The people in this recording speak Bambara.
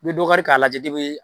I bɛ dɔ kari k'a lajɛ depi